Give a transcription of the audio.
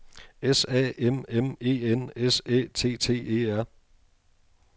S A M M E N S Æ T T E R